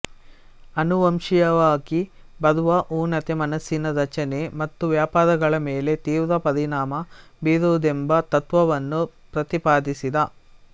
ಅನುವಂಶೀಯವಾಗಿ ಬರುವ ಊನತೆ ಮನಸ್ಸಿನ ರಚನೆ ಮತ್ತು ವ್ಯಾಪಾರಗಳ ಮೇಲೆ ತೀವ್ರ ಪರಿಣಾಮ ಬೀರುವುದೆಂಬ ತತ್ತ್ವವನ್ನು ಪ್ರತಿಪಾದಿಸಿದ